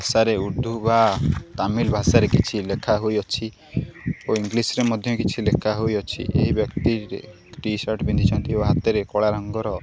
ଭାଷାରେ ଉର୍ଦ୍ଧୁ ବା ତାମିଲ୍ ଭାଷାରେ କିଛି ଲେଖା ହୋଇଅଛି ଓ ଇଙ୍ଗିଲସ୍ ରେ ମଧ୍ୟ କିଛି ଲେଖା ହୋଇଅଛି ଏହି ବ୍ୟକ୍ତିରେ ଟି_ସାର୍ଟ ପିନ୍ଧିଛନ୍ତି ଓ ହାତରେ କଳା ରଙ୍ଗର --